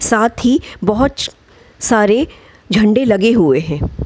साथ ही बहच सारे झंडे लगे हुए है।